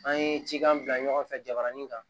An ye cikan bila ɲɔgɔn fɛ jabarani kan